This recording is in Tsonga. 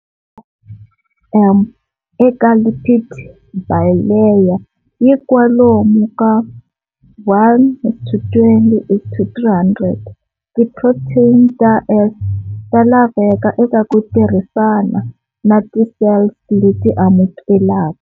Eka lipid bilayer yi kwalomu ka 1-20-300. Ti protein ta S ta laveka eka ku tirhisana na ti cells leti amukelaka.